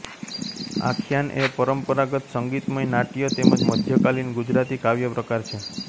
આખ્યાન એ પરંપરાગત સંગીતમય નાટ્ય તેમજ મધ્યકાલીન ગુજરાતી કાવ્યપ્રકાર છે